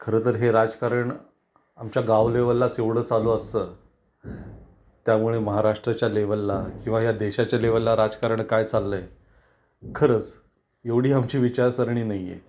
खर तर हे राजकारण आमच्या गाव लेव्हललाच एवढ चालू असत, त्यामुळे महाराष्ट्राच्या लेव्हलला किंवा या देशाच्या लेव्हलला राजकारण काय चालल आहे खरंच एवढी आमची विचारसरणी नाही आहे.